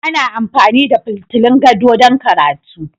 Ana amfani da fitulun gado don karatu